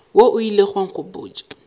wo o ilego wa nkgopotša